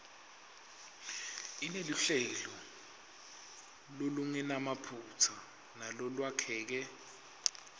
ineluhlelo lolungenamaphutsa nalolwakheke